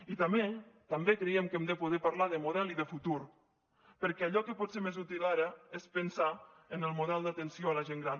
i també creiem que hem de poder parlar de model i de futur perquè allò que pot ser més útil ara és pensar en el model d’atenció a la gent gran